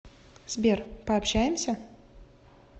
сбер пообщаемся